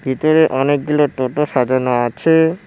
ভিতরে অনেকগুলো টোটো সাজানো আছে।